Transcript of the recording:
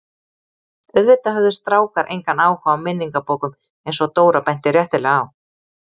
Auðvitað höfðu strákar engan áhuga á minningabókum eins og Dóra benti réttilega á.